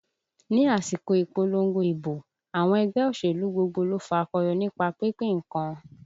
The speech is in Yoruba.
Ni àsìkò ìpolongo ìbò, àwọn ẹgbẹ́ òṣèlú gbogbo ló fakọyọ nípa pínpín nǹkan